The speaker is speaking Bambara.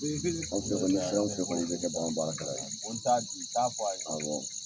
Anw fɛ kɔni fɛn o fɛn i bɛ bagan baarakɛla ye, awɔ